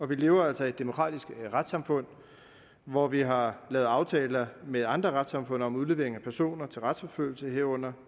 vi lever altså i et demokratisk retssamfund hvor vi har lavet aftaler med andre retssamfund om udlevering af personer til retsforfølgelse herunder